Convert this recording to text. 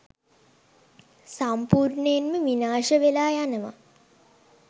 සම්පූර්ණයෙන්ම විනාශ වෙලා යනවා